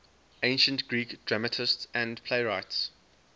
ancient greek dramatists and playwrights